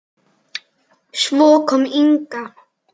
Svo kom Inga.